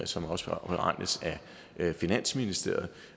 som også er beregnet af finansministeriet